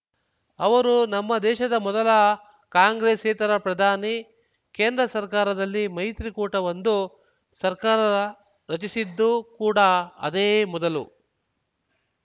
ಅವರು ನಮ್ಮ ದೇಶದ ಮೊದಲ ಕಾಂಗ್ರೆಸ್ಸೇತರ ಪ್ರಧಾನಿ ಕೇಂದ್ರ ಸರ್ಕಾರದಲ್ಲಿ ಮೈತ್ರಿಕೂಟವೊಂದು ಸರ್ಕಾರ ರಚಿಸಿದ್ದು ಕೂಡ ಅದೇ ಮೊದಲು